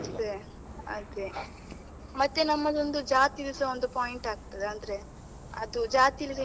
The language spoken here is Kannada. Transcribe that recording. ಅದೇ ಅದೇ, ಮತ್ತೆ ನಮ್ಮದೊಂದು ಜಾತಿದುಸ ಒಂದು point ಆಗ್ತದೆ ಅಂದ್ರೆ ಅದು ಜಾತಿಯಾದ್ರೆ.